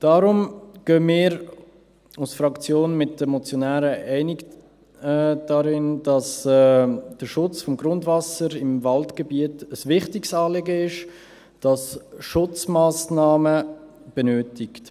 Daher gehen wir als Fraktion mit den Motionären einig, dass der Schutz des Grundwassers im Waldgebiet ein wichtiges Anliegen ist, das Schutzmassnahmen benötigt.